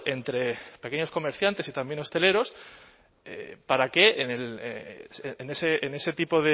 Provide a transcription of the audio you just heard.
entre pequeños comerciantes y también hosteleros para que en ese tipo